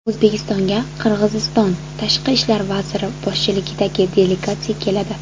O‘zbekistonga Qirg‘iziston Tashqi ishlar vaziri boshchiligidagi delegatsiya keladi.